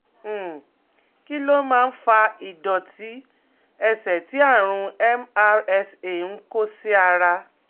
um Kí ló máa ń fa ìdọ̀tí ẹsẹ̀ tí àrùn MRSA ń kó sí ara?